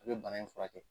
A bɛ bana in furakɛ